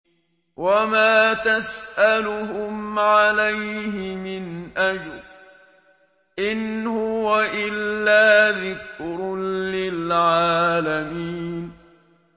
وَمَا تَسْأَلُهُمْ عَلَيْهِ مِنْ أَجْرٍ ۚ إِنْ هُوَ إِلَّا ذِكْرٌ لِّلْعَالَمِينَ